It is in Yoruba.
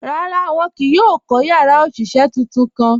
Rárá, wọn kìí yóò kọ́ yàrá oṣiṣẹ́ tuntun kàn.